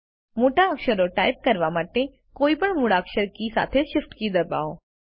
મોટા અક્ષરો ટાઇપ કરવા માટે કોઈપણ મૂળાક્ષર કી સાથે શિફ્ટ કી દબાવો